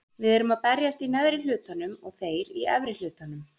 Við erum að berjast í neðri hlutanum og þeir í efri hlutanum.